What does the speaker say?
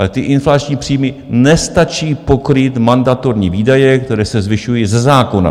Ale ty inflační příjmy nestačí pokrýt mandatorní výdaje, které se zvyšují ze zákona.